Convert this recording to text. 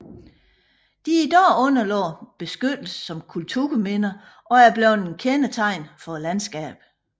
De er i dag underlagt beskyttelse som kulturminder og er blevet et kendetegn for landskabet